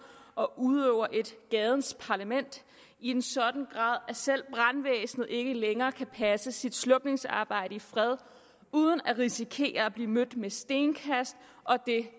og udøver et gadens parlament i en sådan grad at selv brandvæsenet ikke længere kan passe sit slukningsarbejde i fred uden at risikere at blive mødt med stenkast og det